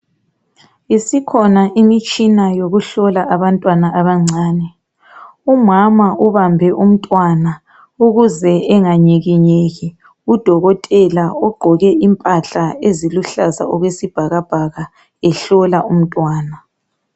Isikhona imitshina yokuhlola abantwana abancane, umama uhambe umntwana ukuze anganyikinyeki udokotela ugqoke impahla esiluhlaza okwesbhakabhaka ehlola umntwana.